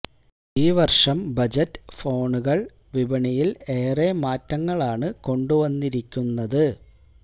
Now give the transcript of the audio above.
ഈ വര്ഷം ബജറ്റ് ഫോണുകള് വിപണിയില് ഏറെ മാറ്റങ്ങളാണ് കൊണ്ടു വന്നിരിക്കുന്നത്